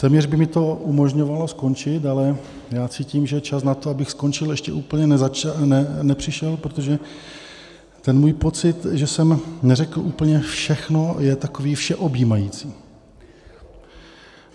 Téměř by mi to umožňovalo skončit, ale já cítím, že čas na to, abych skončil, ještě úplně nepřišel, protože ten můj pocit, že jsem neřekl úplně všechno, je takový všeobjímající.